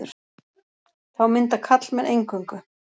Þá mynda karlmenn eingöngu.